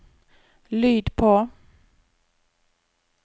lyd på